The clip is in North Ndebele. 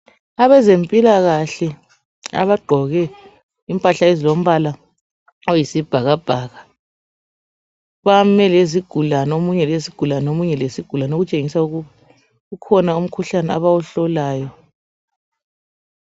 Abazempilakahle abagqoke imphahla ezlombala oyisibhakabhaka. Bame ngezigulane, omunye lesigulane, omunye lesigulane okutshengisa ukuthi kukhona umkhuhlane abawuhlolayo.